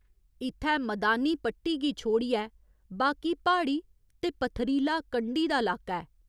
इत्थै मदानी पट्टी गी छोड़ियै बाकी प्हाड़ी ते पत्थरीला कंढी दा लाका ऐ।